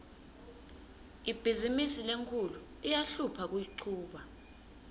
ibhizimisi lenkhulu iyahlupha kuyichuba